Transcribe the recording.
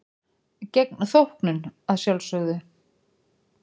Gegn þóknun að sjálfsögðu.